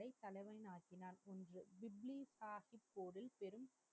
தலைவனாக்கினார் என்று